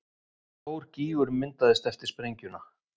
Stór gígur myndaðist eftir sprengjuna